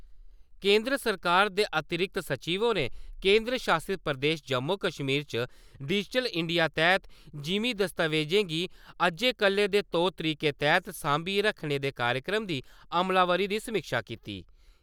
केंदर सरकार दे अतिरिक्त सचिव होरें केंदर शासत प्रदेश जम्मू-कश्मीर च डिजिटल इंडिया तैह्त जिमीं दस्तावेजें गी अज्जै-कल्लै दे तौर-तरीकें तैह्त सांभियै रक्खने दे कार्यक्रम दी अमलावरी दी समीक्षा कीती।